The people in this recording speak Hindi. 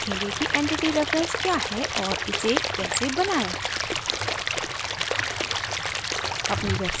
अब हम सीखेंगे कि entity reference क्या है और इसे कैसे बनायें